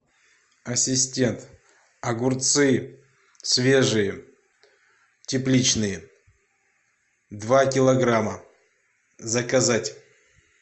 ассистент огурцы свежие тепличные два килограмма заказать